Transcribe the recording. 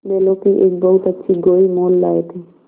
बैलों की एक बहुत अच्छी गोई मोल लाये थे